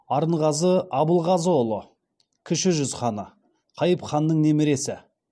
арынғазы абылғазыұлы кіші жүз ханы қайып ханның немересі